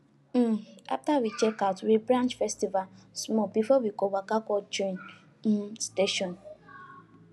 um after we check out we branch festival small before we waka go train um station